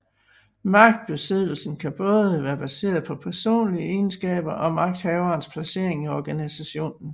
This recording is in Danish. Magtbesiddelsen kan både være baseret på personlige egenskaber og magthaverens placering i organisationen